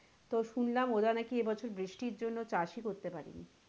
তো শুনলাম ওরা নাকি এবছর বৃষ্টির জন্য চাষ ই করতে পারেনি।